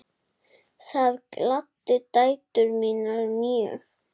Það gladdi dætur mínar mjög.